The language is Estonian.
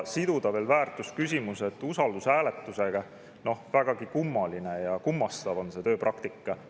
Siduda väärtusküsimused ka usaldushääletusega – vägagi kummaline ja kummastav on see tööpraktika.